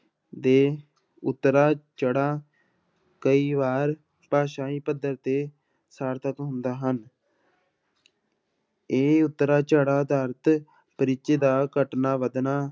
ਦੇ ਉਤਰਾਅ ਚੜਾਅ ਕਈ ਵਾਰ ਭਾਸ਼ਾਈ ਪੱਧਰ ਤੇ ਸਾਰਥਕ ਹੁੰਦਾ ਹਨ ਇਹ ਉਤਰਾਅ ਚੜਾਅ ਦਾ ਅਰਥ ਪਿੱਚ ਦਾ ਘਟਣਾ ਵੱਧਣਾ